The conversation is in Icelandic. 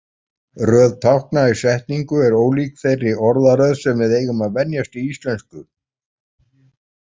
Röð tákna í setningu er ólík þeirri orðaröð sem við eigum að venjast í íslensku.